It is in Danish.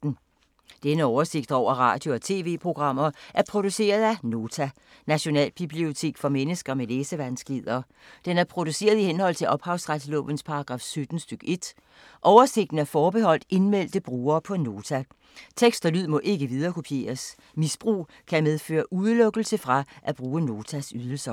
Denne oversigt over radio og TV-programmer er produceret af Nota, Nationalbibliotek for mennesker med læsevanskeligheder. Den er produceret i henhold til ophavsretslovens paragraf 17 stk. 1. Oversigten er forbeholdt indmeldte brugere på Nota. Tekst og lyd må ikke viderekopieres. Misbrug kan medføre udelukkelse fra at bruge Notas ydelser.